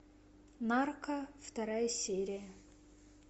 нарко вторая серия